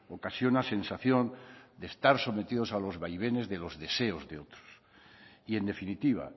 ocasiona sensación de estar sometidos a los vaivenes de los deseos de otros y en definitiva